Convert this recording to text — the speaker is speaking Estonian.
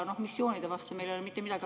Missioonide vastu meil ei ole mitte midagi.